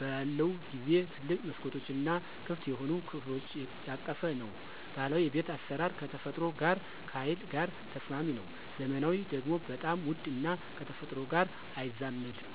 በለውን ጊዜው ትልቅ መስኮቶች እና ክፍት የሆኑ ከፍሎች ያቀፈ ነው። ባህላዊ የቤት አስራር ከተፈጥሮ ጋር ከሀይል ጋር ተስማሚ ነው። ዘመናዊ ደግሞ በጣም ውድ እና ከተፈጥሮ ጋር አይዛመድም።